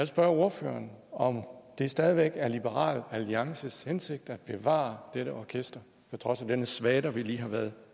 spørge ordføreren om det stadig væk er liberal alliances hensigt at bevare dette orkester på trods af denne svada vi lige har været